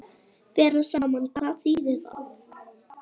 Vera saman, hvað þýðir það?